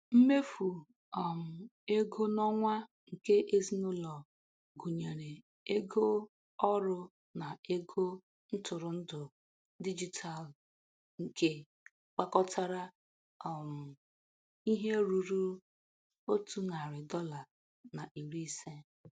Mmefu um ego n'onwa nke ezinụlọ gụnyere ego ọrụ na ego ntụrụ ndụ digitalu nke gbakọtara um ihe rụrụ otu narị dọla na iri ise..